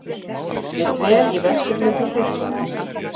Ég dvel í vesturhluta Tyrklands.